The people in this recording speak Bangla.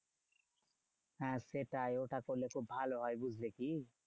হ্যাঁ সেটাই ওটা করলে খুব ভালো হয় বুঝলে কি?